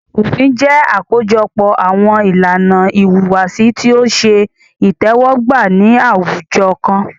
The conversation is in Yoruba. Òfin jẹ́ àkójọpọ̀ àwọn ìlànà ìhùwàsí tí o ṣe itẹ́wọ́gbà ní àwùjọ kan.